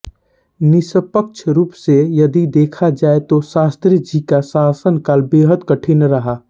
निष्पक्ष रूप से यदि देखा जाये तो शास्त्रीजी का शासन काल बेहद कठिन रहा